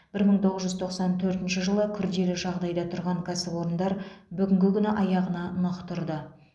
бір мың тоғыз жүз тоқсан төртінші жылы күрделі жағдайда тұрған кәсіпорындар бүгінгі күні аяғына нық тұрды